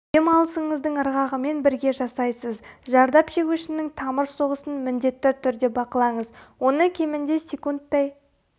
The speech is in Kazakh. дем алысыңыздың ырғағымен бірге жасайсыз зардап шегушінің тамыр соғысын міндетті түрде бақылаңыз оны кемінде секундтай